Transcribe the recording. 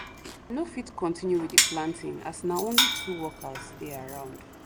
no fit continue with the planting as na only two workers dey around